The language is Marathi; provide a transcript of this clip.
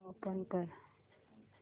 ओपन कर